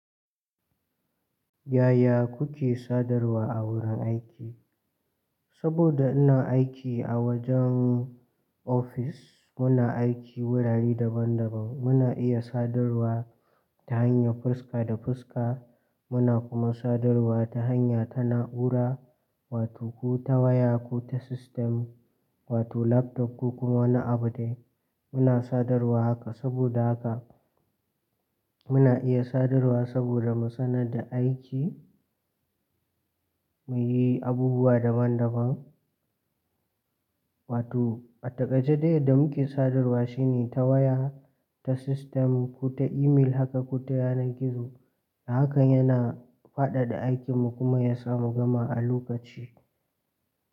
Yaya kuke sadarwa a wurin aiki? Saboda ina aiki a wajen ofis, muna aiki wurare daban daban. Muna iya sadarwa ta hanyar fuska da fuska, muna kuma sadarwa ta hanya ta na'ura wato ko ta waya ko ta system wato laptop ko kuma wani abu dai. Muna sadarwa haka saboda haka muna iya sadarwa saboda mu sanar da aiki, mu yi abubuwa daban daban. Wato a taƙaice dai yadda muke sadarwa shine ta waya, ta sistem ko ta email haka ko ta yanar gizo. Haka yana faɗaɗa aikinmu kuma ya sa mu gama a lokaci.